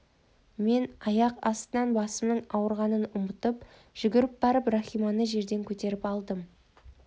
мен аяқ астынан басымның ауырғанын ұмытып жүгіріп барып рахиманы жерден көтеріп алдым